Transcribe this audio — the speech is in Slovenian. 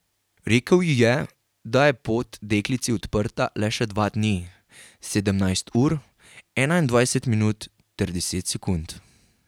Rekel ji je, da je pot deklici odprta le še dva dni, sedemnajst ur, enaindvajset minut ter deset sekund.